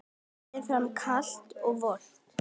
Berið fram kalt eða volgt.